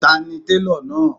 Ta ni télọ̀ náà?